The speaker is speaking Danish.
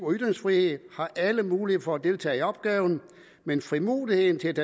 og ytringsfrihed har alle mulighed for at deltage i opgaven men frimodigheden til at